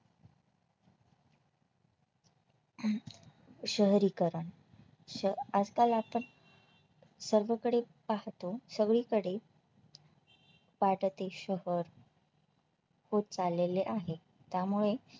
अं शहरीकरण श आजकाल आपण सर्वकडे पाहतो सगळीकडे वाढते शहर होत चाललेले आहे त्यामुळे